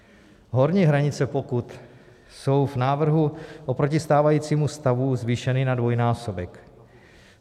Horní hranice, pokud... jsou v návrhu oproti stávajícímu stavu zvýšeny na dvojnásobek.